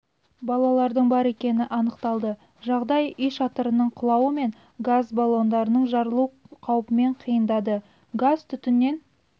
балалардың бар екені анықталды жағдай үй шатырының құлауы мен газ балонның жарылу қаупімен қиындады газ-түтіннен